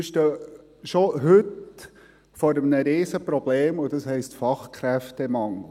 Wir stehen schon heute vor einem riesigen Problem, und das heisst Fachkräftemangel.